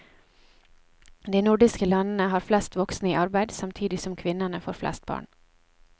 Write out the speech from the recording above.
De nordiske landene har flest voksne i arbeid, samtidig som kvinnene får flest barn.